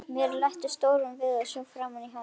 Mér létti stórum við að sjá framan í hana.